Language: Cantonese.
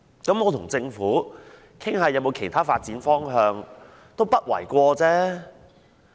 那麼跟政府討論有否其他發展方向也不為過吧？